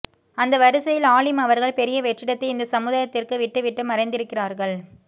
அந்த வருசையில் ஆலிம் அவர்கள் பெரிய வெற்றிடத்தை இந்த சமுதாயத்துக்கு விட்டு விட்டு மறைந்திருக்கிறார்கள்